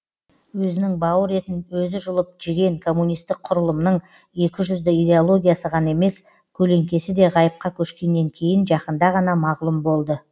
өзінің бауыр етін өзі жұлып жеген коммунистік құрылымның екіжүзді идеологиясы ғана емес көлеңкесі де ғайыпқа көшкеннен кейін жақында ғана мағлұм болды